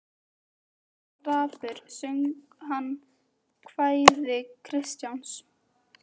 Þegar hann var dapur söng hann kvæði Kristjáns